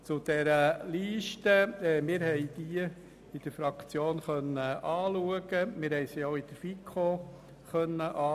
Zur Liste: Wir konnten diese in der Fraktion anschauen, aber auch in der FiKo.